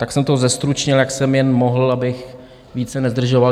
Tak jsem to zestručnil, jak jsem jen mohl, abych více nezdržoval.